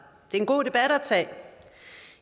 det er en god debat at tage